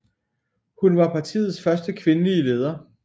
Hun var partiets første kvindelige leder